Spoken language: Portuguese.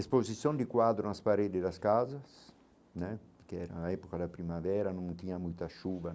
Exposição de quadros nas paredes das casas né, porque era a época da primavera, não tinha muita chuva.